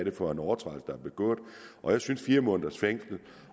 er for en overtrædelse der er begået jeg synes at fire måneders fængsel